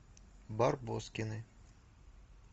барбоскины